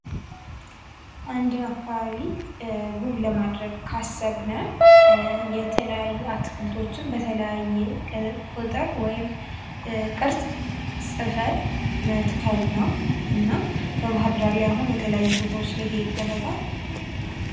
አንድን አካባቢ ውብ ለማድረግ ካሰብን የተለያዩ አትክልቶችን በተለያየ ቁጥር ወይም ቅርጽ ጽፈንን መትከል ነው እና በባህርዳር ላይ አሁን የተለያዩ ቦታዎች ላይ ይሄ ይደረጋል